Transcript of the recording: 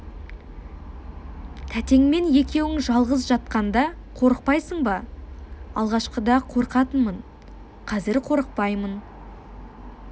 тәтеңмен екеуің жалғыз жатқанда қорықпайсың ба алғашқыда қорқатынмын қазір қорықпаймын